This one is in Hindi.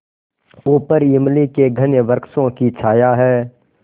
ऊपर इमली के घने वृक्षों की छाया है